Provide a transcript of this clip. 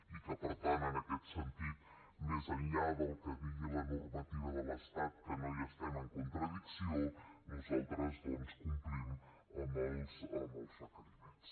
i per tant en aquest sentit més enllà del que digui la normativa de l’estat que no hi estem en contradicció nosaltres doncs complim amb els requeriments